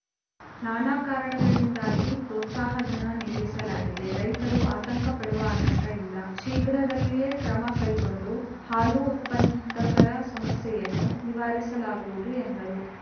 ನಾನಾ ಕಾರಣಗಳಿಂದಾಗಿ ಪ್ರೋತ್ಸಾಹ ಧನ ನಿಲ್ಲಿಸಲಾಗಿದೆ ರೈತರು ಆತಂಕ ಪಡುವ ಆತಂಕ ಇಲ್ಲ ಶೀಘ್ರದಲ್ಲಿಯೇ ಕ್ರಮ ಕೈಗೊಂಡು ಹಾಲು ಉತ್ಪನ್ನದಕರ ಸಮಸ್ಯೆಯನ್ನು ನಿವಾರಿಸಲಾಗುವುದು ಎಂದರು